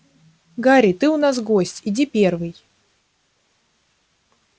гарри ты у нас гость иди первый